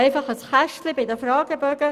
Sie haben Ziffer 2 angenommen.